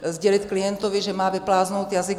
Sdělit klientovi, že má vypláznout jazyk.